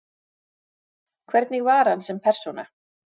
Hvernig var hann sem persóna?